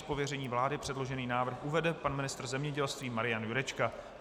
Z pověření vlády předložený návrh uvede pan ministr zemědělství Marian Jurečka.